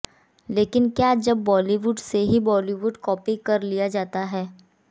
लेकिन क्या जब बॉलीवुड से ही बॉलीवुड कॉपी कर लिया जाता है